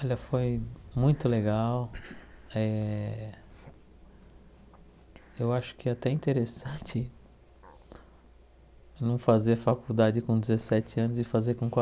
Olha, foi muito legal, eh eu acho que até interessante não fazer faculdade com dezessete anos e fazer com